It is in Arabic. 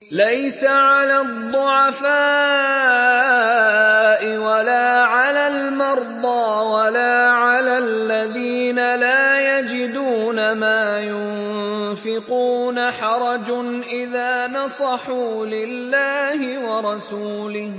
لَّيْسَ عَلَى الضُّعَفَاءِ وَلَا عَلَى الْمَرْضَىٰ وَلَا عَلَى الَّذِينَ لَا يَجِدُونَ مَا يُنفِقُونَ حَرَجٌ إِذَا نَصَحُوا لِلَّهِ وَرَسُولِهِ ۚ